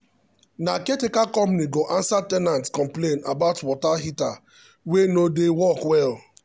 na caretaker company go answer ten ant complaint about water heater wey no dey work well.